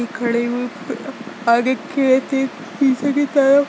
खड़े हुए आगे खेत है। पीछे की तरफ।